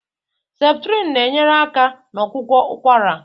Septrịn na-enyere aka na ọgwụgwọ ụkwara.